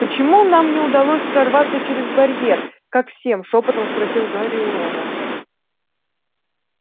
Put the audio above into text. почему нам не удалось прорваться через барьер как всем шёпотом спросил гарри у рона